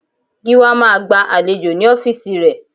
Gíwá máa gba àlejò ní ọ́fíìsì ré